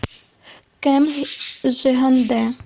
кэм жиганде